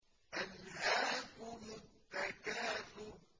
أَلْهَاكُمُ التَّكَاثُرُ